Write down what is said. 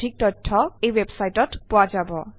এই শিক্ষণ সহায়িকা আগবঢ়ালে টেলেণ্টছপ্ৰিণ্ট